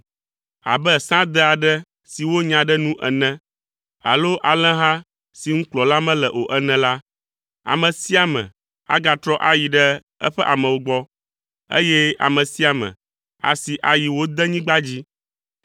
Abe sãde aɖe si wonya ɖe nu ene alo alẽha si ŋu kplɔla mele o ene la, ame sia ame agatrɔ ayi ɖe eƒe amewo gbɔ, eye ame sia ame asi ayi wo denyigba dzi.